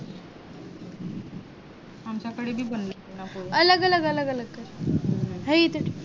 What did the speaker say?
आमच्या कडे बी बनवले ना होते पोहे अलग अलग कर हाय इथे च